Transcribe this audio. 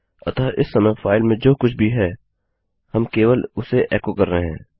अतः इस समय फाइल में जो कुछ भी है हम केवल उसे एको कर रहे हैं